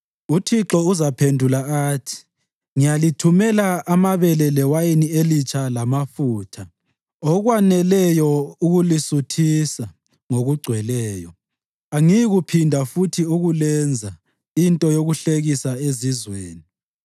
UThixo uzabaphendula athi: “Ngiyalithumela amabele lewayini elitsha lamafutha, okwaneleyo ukulisuthisa ngokugcweleyo; angiyikuphinda futhi ukulenza into yokuhlekisa ezizweni.